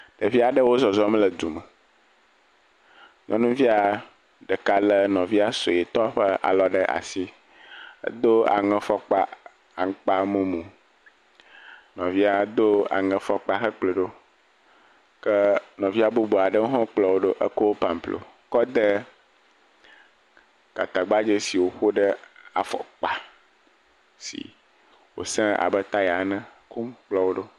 Ɖevi aɖewo zɔzɔm le du me. Nyɔnuvia ɖeka lé nɔvia suetɔ ƒe alɔ ɖe asi. Edo aŋefɔkpa aŋkpa mumu, nɔvia do aŋefɔkpa hekplɔe ɖo ke nɔvia bubu aɖewo hã kplɔ wo ɖo eko pamplo kɔ de gatagbadze si woƒe ɖe afɔkpa si wosẽ abe taya ene hekpɔ wo ɖo.